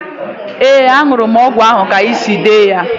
Ee, an̄ụrụ m ọgwụ ahụ ka i siri dee ya.